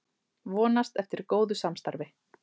Vonast eftir góðu samstarfi